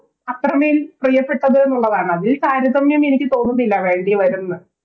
അത്രമേൽ പ്രിയപ്പെട്ടതൊന്നുള്ളതാണ് അതിന് താരതമ്യം എനിക്ക് തോന്നുന്നില്ല വേണ്ടി വരും ന്ന്